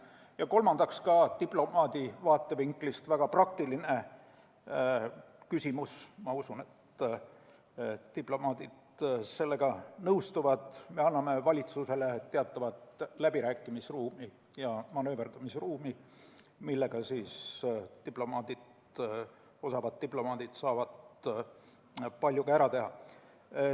Ja kolmandaks, ka diplomaadi vaatevinklist väga praktiline küsimus – ma usun, et diplomaadid nõustuvad sellega – on see, et me anname valitsusele teatavat läbirääkimis- ja manööverdamisruumi, millega osavad diplomaadid saavad palju ära teha.